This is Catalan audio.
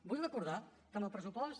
vull recordar que amb el pressupost